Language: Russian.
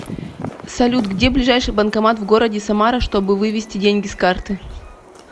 салют где ближайший банкомат в городе самара чтобы вывести деньги с карты